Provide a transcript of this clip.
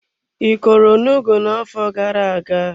I kọrọ onugbu na-afo gara aga.?